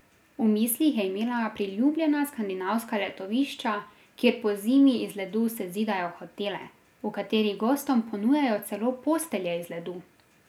V mislih je imela priljubljena skandinavska letovišča, kjer pozimi iz ledu sezidajo hotele, v katerih gostom ponujajo celo postelje iz ledu.